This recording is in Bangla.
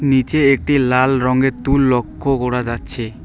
নীচে একটি লাল রঙের তুল লক্ষ করা যাচ্ছে।